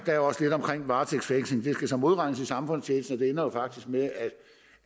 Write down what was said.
er også lidt om varetægtsfængsling det skal så modregnes i samfundstjenesten og det ender jo faktisk med